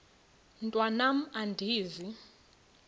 mntwan am andizi